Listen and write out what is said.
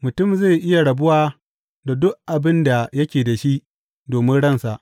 Mutum zai iya rabuwa da duk abin da yake da shi domin ransa.